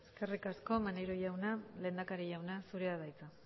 eskerrik asko maneiro jauna lehendakari jauna zurea da hitza